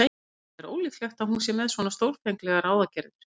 En það er ólíklegt að hún sé með svo stórfenglegar ráðagerðir.